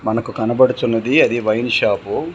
మనకు కనబడుచున్నది అది వైన్ షాపు .